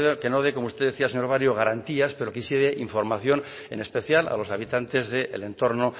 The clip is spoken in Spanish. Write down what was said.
que no dé como usted decía señor barrio garantías pero que sí de información en especial a los habitantes del entorno